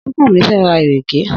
Súnkànmí fẹ́ ra ìrèké.